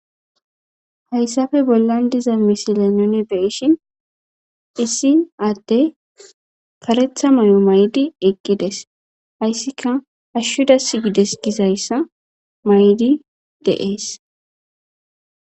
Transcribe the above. Hayssappe bollan diza misile nuni be'ishin issi adde karetha may'o ma'di eqqides. Hayssika hashshu dasigides gizayssa mayidi de'ees.